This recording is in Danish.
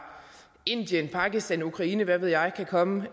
indien pakistan ukraine hvad ved jeg kan komme